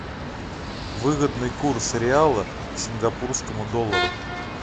выгодный курс реала к сингапурскому доллару